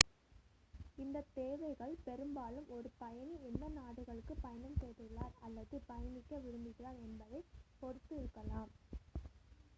இந்த தேவைகள் பெரும்பாலும் ஒரு பயணி எந்த நாடுகளுக்கு பயணம் செய்துள்ளார் அல்லது பயணிக்க விரும்புகிறார் என்பதைப் பொறுத்து இருக்கலாம்